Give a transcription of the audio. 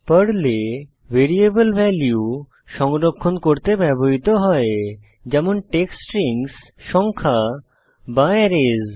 পর্লে variable value সংরক্ষণ করতে ব্যবহৃত হয় যেমন টেক্সট স্ট্রিংস সংখ্যা বা অ্যারেস